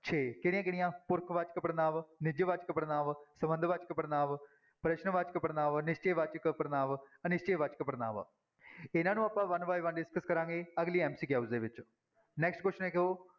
ਛੇ ਕਿਹੜੀਆਂ ਕਿਹੜੀਆਂ ਪੁਰਖ ਵਾਚਕ ਪੜ੍ਹਨਾਂਵ, ਨਿਜਵਾਚਕ ਪੜ੍ਹਨਾਂਵ, ਸੰਬੰਧ ਵਾਚਕ ਪੜ੍ਹਨਾਂਵ, ਪ੍ਰਸ਼ਨ ਵਾਚਕ ਪੜ੍ਹਨਾਂਵ, ਨਿਸ਼ਚੈ ਵਾਚਕ ਪੜ੍ਹਨਾਂਵ, ਅਨਿਸ਼ਚੈ ਵਾਚਕ ਪੜ੍ਹਨਾਂਵ, ਇਹਨਾਂ ਨੂੰ ਆਪਾਂ one by one discuss ਕਰਾਂਗੇ ਅਗਲੀ MCQ ਦੇ ਵਿੱਚ next question ਦੇਖੋ